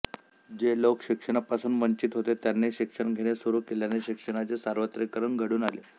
जे लोक शिक्षणापासून वंचित होते त्यांनी शिक्षण घेणे सुरू केल्याने शिक्षणाचे सार्वत्रीकरण घडून आले